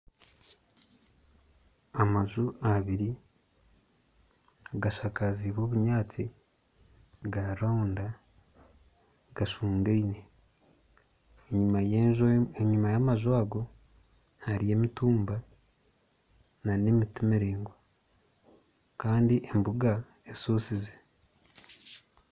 Amaju abiri gashakaziibwe obunyatsi ga rounda g'ashungaine enyuma y'amaju ago harimu emitumba nana emiti miraingwa Kandi embuga eshusize